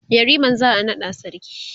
yariman za'a naɗa sarki